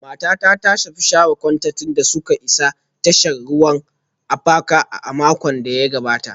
Matata ta tafi share kwantenanta da suka isa tashar ruwan Apapa a makon da ya gabata